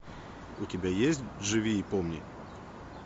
у тебя есть живи и помни